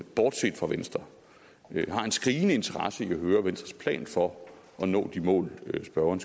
bortset fra venstre har en skrigende interesse i at høre venstres plan for at nå de mål spørgeren